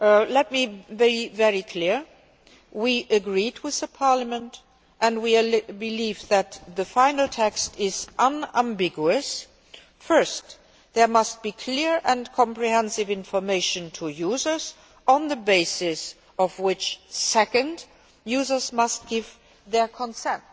Let me be very clear we agreed with Parliament, and we believe that the final text is unambiguous. First, there must be clear and comprehensive information to users on the basis of which second users must give their consent.